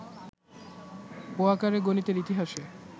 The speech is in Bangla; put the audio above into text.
পোয়াঁকারে গণিতের ইতিহাসে